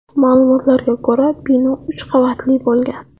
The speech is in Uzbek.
Ma’lumotlarga ko‘ra , bino uch qavatli bo‘lgan.